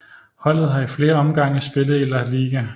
Holdet har i flere omgange spillet i La Liga